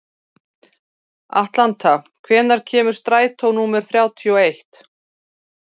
Atlanta, hvenær kemur strætó númer þrjátíu og eitt?